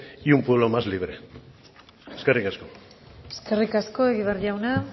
y un pueblo más libre eskerrik asko eskerrik asko egibar jauna